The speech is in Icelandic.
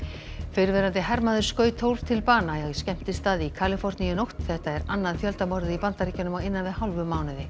fyrrverandi hermaður skaut tólf til bana á skemmtistað í Kaliforníu í nótt þetta er annað í Bandaríkjunum á innan við hálfum mánuði